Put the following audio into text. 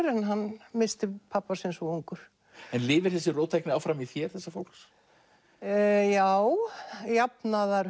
en hann missti pabba sinn svo ungur en lifir þessi róttækni áfram í þér þessa fólks já jafnaðar